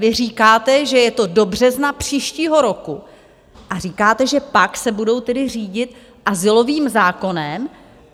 Vy říkáte, že je to do března příštího roku, a říkáte, že pak se budou tedy řídit azylovým zákonem.